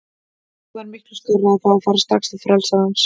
Þeim var miklu skárra að fá að fara strax til frelsarans.